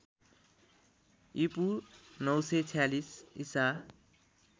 ईपू ९४६ ईसा